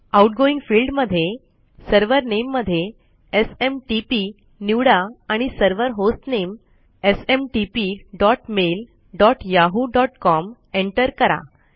outgoing field मध्ये server Nameमध्ये SMTP निवडा आणि सर्वर होस्टनेम smtpmailyahooकॉम एंटर करा